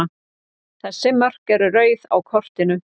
Þessi mörk eru rauð á kortinu.